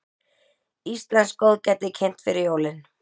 Íslenskt góðgæti kynnt fyrir jólin